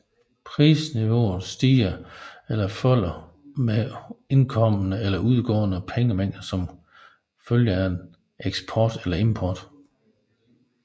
Prisniveauet stiger eller falder med indkommende eller udgående pengemængder som følge af eksport eller import